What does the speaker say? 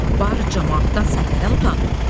Barı camaatdan səhnədən utan.